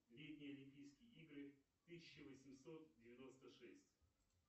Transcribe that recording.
летние олимпийские игры тысяча восемьсот девяносто шесть